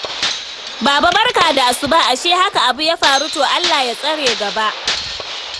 Baba barka da asuba, ashe haka abu ya faru? To Allah ya tsare gaba